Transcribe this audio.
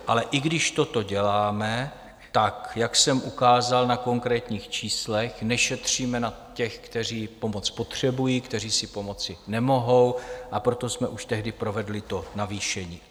Ale i když toto děláme, tak jak jsem ukázal na konkrétních číslech, nešetříme na těch, kteří pomoc potřebují, kteří si pomoci nemohou, a proto jsme už tehdy provedli to navýšení.